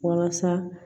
Walasa